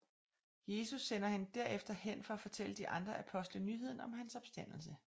Jesus sender hende derefter hen for at fortælle de andre apostle nyheden om hans opstandelse